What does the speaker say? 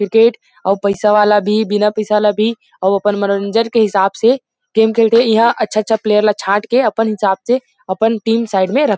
cricket अऊ पइसा वाला भी बिना पैसा वाला भी अऊ अपन मनोरंजन के हिसाब से गेम खेलथे ईहा अच्छा -अच्छा प्लेयर ला छांट के अपन हिसाब से अपन टीम साइड में रख --